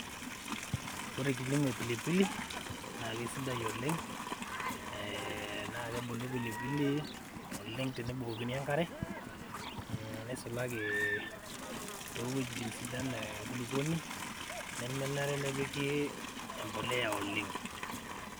Ore kilimo e pilipili na kesidai oleng na kebulu pilipili oleng tenebukokini enkare ,neisulaki towuejitin sidan enkulukuoni nemenare nepiki empolea oleng.